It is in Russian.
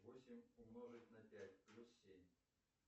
восемь умножить на пять плюс семь